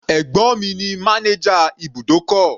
Ẹ̀gbọ́n mi ní manager ibùdókọ̀.